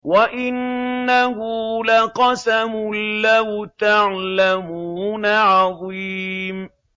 وَإِنَّهُ لَقَسَمٌ لَّوْ تَعْلَمُونَ عَظِيمٌ